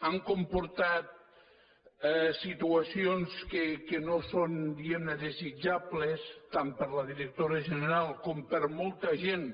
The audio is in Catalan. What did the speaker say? han comportat situacions que no són diguem ne desitjables tant per la directora general com per molta gent